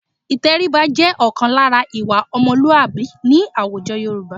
Ìtẹríba jẹ́ ọ̀kan lára ìwà ọmọlúàbí ní àwùjọ Yorùbá